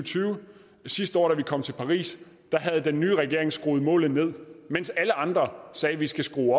sidste år da man kom til paris havde den nye regering skruet målet ned mens alle andre sagde at vi skal skrue